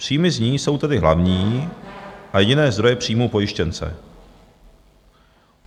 Příjmy z ní jsou tedy hlavní a jediné zdroje příjmů pojištěnce.